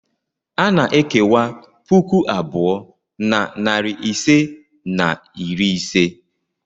A na-ekewa puku abụọ na narị ise na iri ise.